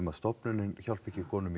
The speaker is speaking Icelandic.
að stofnunin hjálpi ekki konum